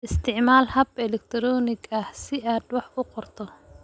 Isticmaal hab elektaroonig ah si aad wax u qorto.